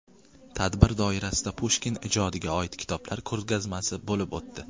Tadbir doirasida Pushkin ijodiga oid kitoblar ko‘rgazmasi bo‘lib o‘tdi.